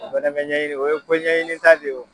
O fɛnɛ bɛ ɲɛɲini o ye koɲɛɲinita de ye o.